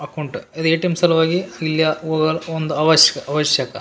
Account ಅದ್ ATM. ಸಲುವಾಗಿ ಇಲ್ಲ್ಯಾ ಒಅರ್ ಒಂದ್ ಅವಶ್ಕ್ ಅವಶ್ಯಕ --